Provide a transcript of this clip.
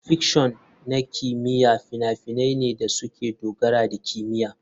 Fiction na kimiyya fina-finai ne da suka dogara da kimiyya.